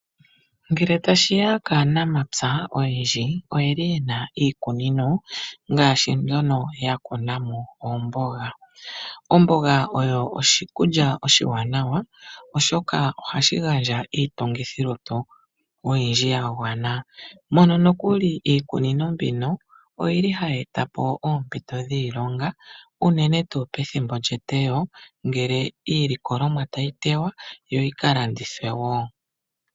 Ngele tashiya kaanamapya oyendji oyeli yena iikunino mbyono yeli ya kuna mo oomboga. Omboga oyo oshikulya oshiwanawa oshoka ohashi gandja iitungithi lutu oyindji yagwana. Mono nokuli iikunino mbino oyili hayi etapo oombito dhiilonga unene tuu pethimbo lyetewo ngele iilikolomwatayi tewa yo yika landithwe wo.